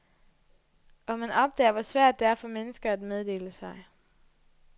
Og man opdager, hvor svært det er for mennesker at meddele sig.